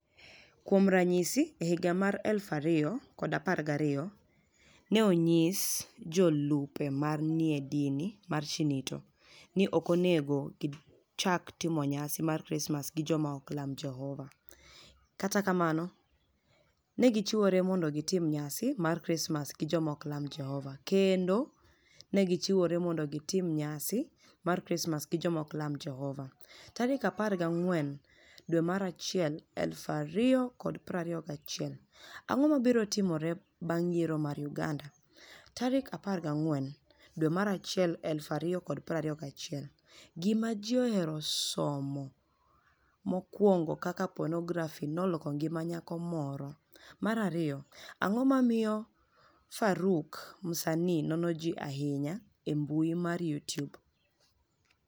Kuom raniyisi, e higa mar 2012, ni e oniyis jolupni e ma ni e niie dini mar Shinito nii ni e ok oni ego gichak timo niyasi mar Krismas gi joma ok lam Jehova. Kata kamano, ni e gichiwore monido gitim niyasi mar Krismas gi joma ok lam Jehova, kenido ni e gichiwore monido gitim niyasi mar Krismas gi joma ok lam Jehova. 14 Janiuar 2021 Anig'o mabiro timore banig' yiero mar Uganida? 14 Janiuar 2021 Gima Ji Ohero Somo 1 Kaka Ponografi noloko nigima niyako moro 2 Anig'o momiyo Faruk Msanii nono ji ahiniya e i mbui mar YouTube?